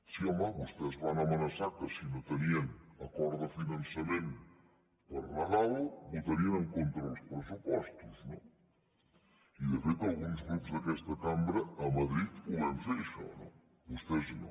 sí home vostès van amenaçar que si no tenien acord de finançament per nadal votarien en contra dels pressupostos no i de fet alguns grups d’aquesta cambra a madrid ho vam fer això no vostès no